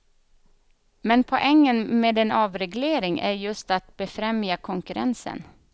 Men poängen med en avreglering är ju just att befrämja konkurrensen.